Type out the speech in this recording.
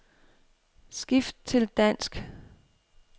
Skift til dansk.